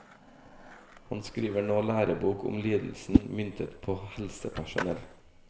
Han skriver nå lærebok om lidelsen, myntet på helsepersonell.